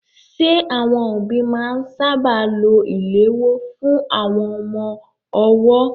Ṣé àwọn òbí máa ń sáábà lo ìléwọ́ fún àwọn ọmọ ọwọ́?